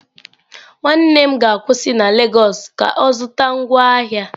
Nwanne m ga-akwụsị na lagos ka ọ zụta ngwaahịa.